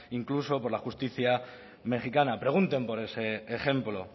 incluso por la justicia mejicana pregunten por ese ejemplo